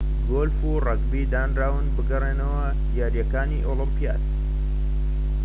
گۆلف و رەگبی دانراون بگەڕێنەوە یاریەکانی ئۆلۆمپیاد